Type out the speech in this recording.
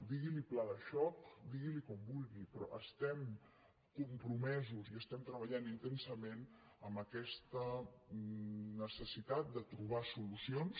digui’n pla de xoc digui’n com vulgui però hi estem compromesos i estem treballant intensament en aquesta necessitat de trobar solucions